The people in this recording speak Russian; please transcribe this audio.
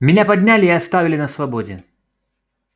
меня подняли и оставили на свободе